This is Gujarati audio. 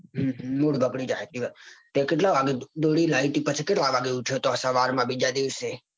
mood બગડી જાય હાચી વાત છે તે પછી કેટલા વાગે દોયડી લાઈ તી કરતલ વાગે ઉઠ્યો તો સવારમાં.